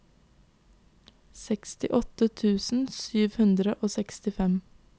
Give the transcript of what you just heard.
sekstiåtte tusen sju hundre og sekstifem